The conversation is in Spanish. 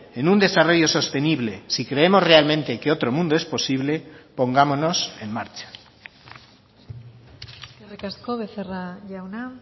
en un desarrollo sostenible si creemos realmente que otro mundo es posible pongámonos en marcha eskerrik asko becerra jauna